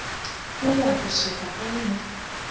uya kusuka eme